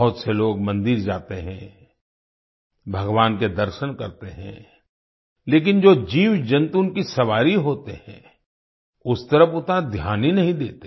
बहुत से लोग मंदिर जाते हैं भगवान के दर्शन करते हैं लेकिन जो जीवजंतु उनकी सवारी होते हैं उस तरफ़ उतना ध्यान नहीं देते